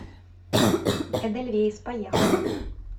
эдельвейс поехали